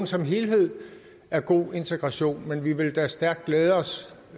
som helhed er god integration men vi vil da stærkt glæde os